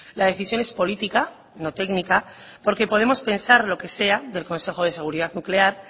la decisión es política no técnica porque podemos pensar lo que sea del consejo de seguridad nuclear